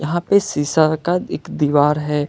यहां पे शीशा का एक दीवार है।